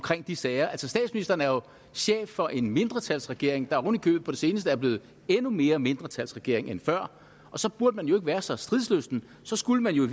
de sager altså statsministeren er chef for en mindretalsregering der ovenikøbet på det seneste er blevet endnu mere mindretalsregering end før og så burde man jo ikke være så stridslysten så skulle man jo i